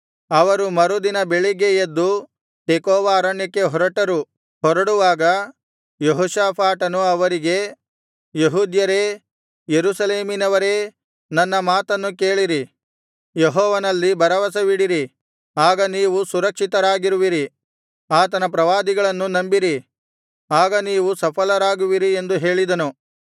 ಅವರು ಮರುದಿನ ಬೆಳಿಗ್ಗೆ ಎದ್ದು ತೆಕೋವ ಅರಣ್ಯಕ್ಕೆ ಹೊರಟರು ಹೊರಡುವಾಗ ಯೆಹೋಷಾಫಾಟನು ಅವರಿಗೆ ಯೆಹೂದ್ಯರೇ ಯೆರೂಸಲೇಮಿನವರೇ ನನ್ನ ಮಾತನ್ನು ಕೇಳಿರಿ ಯೆಹೋವನಲ್ಲಿ ಭರವಸವಿಡಿರಿ ಆಗ ನೀವು ಸುರಕ್ಷಿತರಾಗಿರುವಿರಿ ಆತನ ಪ್ರವಾದಿಗಳನ್ನು ನಂಬಿರಿ ಆಗ ನೀವು ಸಫಲರಾಗುವಿರಿ ಎಂದು ಹೇಳಿದನು